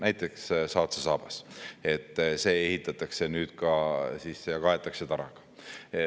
Näiteks Saatse saabas ehitatakse nüüd ka tara.